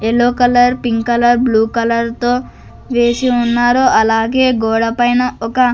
Yellow colour pink colour blue colour తో వేసి ఉన్నారో అలాగే గోడ పైన ఒక.